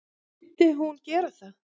Myndi hún ekki gera það?